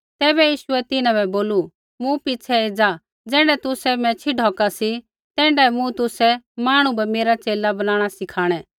तैबै यीशुऐ तिन्हां बै बोलू मूँ पिछ़ै एज़ा ज़ैण्ढै तुसै मैच्छ़ी ढौका सी तैण्ढै मूँ तुसै मांहणु बै मेरा च़ेला बनाणा सिखाणै